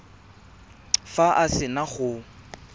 fa a se na go